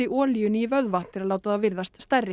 olíunni í vöðva til að láta þá virðast stærri